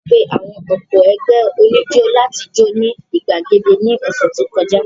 A pe àwọn ọ̀pọ̀ ẹgbẹ́ oníjó láti jó ní gbàgede ní ọ̀sẹ̀ tó kọjá.